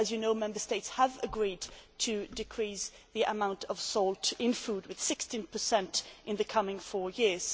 As you know, Member States have agreed to decrease the amount of salt in food by 16 in the coming four years.